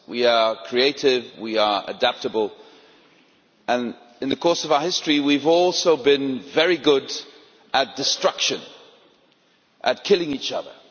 We are creative, we are adaptable, and, in the course of our history, we have also been very good at destruction and at killing each other.